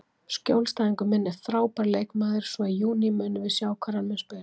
Skjólstæðingur minn er frábær leikmaður, svo í júní munum við sjá hvar hann mun spila.